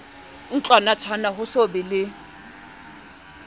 ntlwanatshwana ho so be le